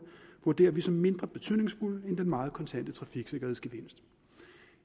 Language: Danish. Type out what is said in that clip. vurderer vi som mindre betydningsfulde end den meget kontante trafiksikkerhedsgevinst